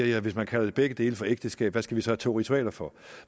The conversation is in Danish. jeg hvis man kalder begge dele for ægteskab hvad skal vi så have to ritualer for